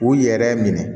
U yɛrɛ minɛ